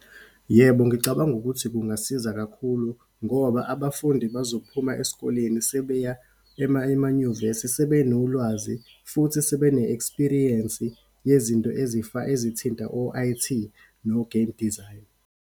Yebo, ngicabanga ukuthi kungasiza kakhulu ngoba abafundi bazophuma esikoleni sebeya ema emanyuvesi sebenolwazi, futhi sebene-experience yezinto ezithinta o-I_T, no-game design.